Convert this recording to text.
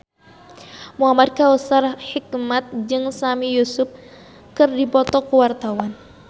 Muhamad Kautsar Hikmat jeung Sami Yusuf keur dipoto ku wartawan